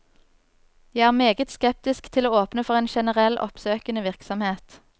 Jeg er meget skeptisk til å åpne for en generell oppsøkende virksomhet.